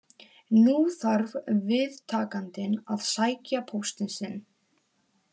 Nú þarf viðtakandinn að sækja póstinn sinn.